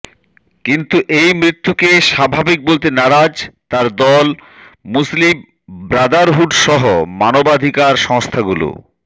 কিন্তু এই মৃত্যুকে স্বাভাবিক বলতে নারাজ তার দল মুসলিম ব্রাদারহুডসহ মানবাধিকার সংস্থাগুলো